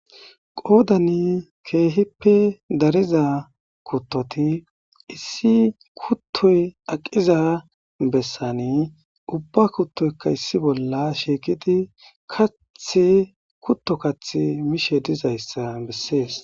qoodani keehippe dariza kuttoti issi kuttoy aqiza bessani ubba kuttoyka issi bolla shiiqidi kath kutto kath mishe dizayssa bessees